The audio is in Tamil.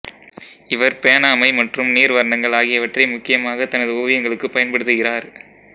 இவர் பேனா மை மற்றும் நீர் வர்ணங்கள் ஆகியவற்றை முக்கியமாக தனது ஓவியங்களுக்குப் பயன்படுத்துகிறார்